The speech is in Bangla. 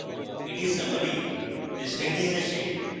এটি summary পৃষ্ঠায় নিয়ে আসে